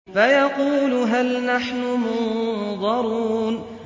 فَيَقُولُوا هَلْ نَحْنُ مُنظَرُونَ